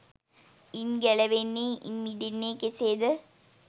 ඉන් ගැලවෙන්නේ ඉන් මිදෙන්නේ කෙසේද?